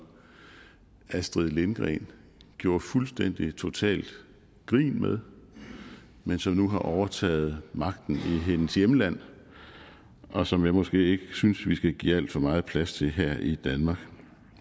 astrid lindgren gjorde fuldstændig og totalt grint med men som nu har overtaget magten i hendes hjemland og som jeg måske ikke synes vi skal give alt for meget plads til her i danmark